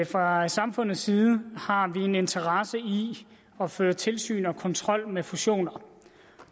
fra samfundets side har vi en interesse i at føre tilsyn og kontrol med fusioner